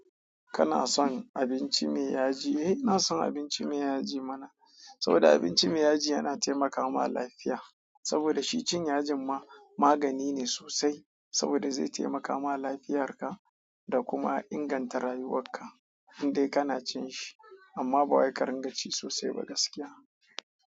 Kana son abinci me yaji? Eh, ina son abinci me yaji mana, saboda abinci me yaji yana taimaka ma lafiya. Saboda shi cin yajin ma magani ne sosai, saboda zai taimaka ma lafiyar ka, da kuma inganta rayuwar ka in dai kana cin shi amma ba wai ka ringa ci sosai ba gaskiya.